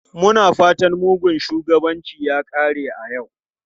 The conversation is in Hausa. Muna fatan mugun shugabanci ya kare a yau.